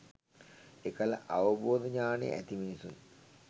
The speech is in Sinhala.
එකල අවබෝධ ඥානය ඇති මිනිසුන්